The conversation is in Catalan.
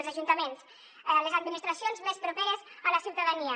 els ajuntaments les administracions més properes a la ciutadania